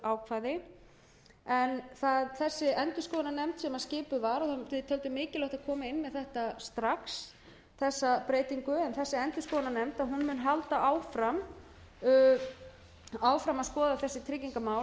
undanþáguákvæði en þessi endurskoðunarnefnd sem skipuð var við töldum mikilvægt að koma inn með þetta strax þessa breytingu en þessi endurskoðunarnefnd mun halda áfram að skoða þessi tryggingamál